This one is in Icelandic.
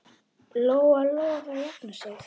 Lóa-Lóa var að jafna sig.